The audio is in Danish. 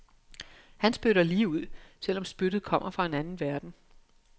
Han spytter lige ud, selv om spyttet kommer fra en anden verden.